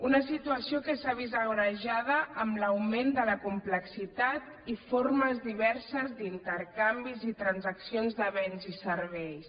una situació que s’ha vist agreujada amb l’augment de la complexitat i formes diverses d’intercanvis i transaccions de béns i serveis